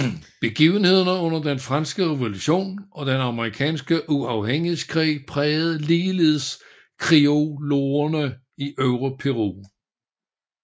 Begivenhederne under Den franske revolution og Den amerikanske uafhængighedskrig prægede ligeledes criolloerne i Øvre Peru